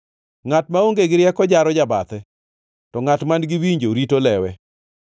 Ngʼat maonge gi rieko jaro jabathe, to ngʼat man-gi winjo rito lewe.